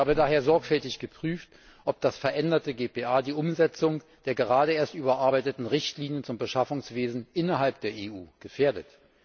Ich habe daher sorgfältig geprüft, ob das veränderte GPA die Umsetzung der gerade erst überarbeiteten Richtlinien zum Beschaffungswesen innerhalb der EU gefährdet.